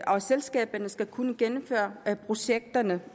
og selskaberne skal kunne gennemføre projekterne